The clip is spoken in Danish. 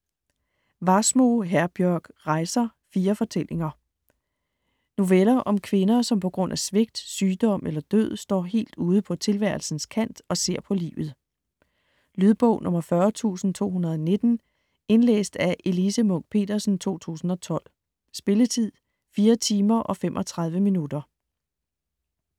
Wassmo, Herbjørg: Rejser: fire fortællinger Noveller om kvinder, som på grund af svigt, sygdom eller død står helt ude på tilværelsens kant og ser på livet. Lydbog 40219 Indlæst af Elise Munch-Petersen, 2012. Spilletid: 4 timer, 35 minutter.